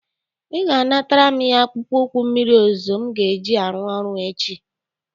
Ị ga-anatara m ya akpụkpọ ụkwụ mmịrị ozuzu m ga-eji arụ ọrụ echi